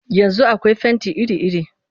Yanzu akwai fenti iri-iri